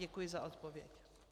Děkuji za odpověď.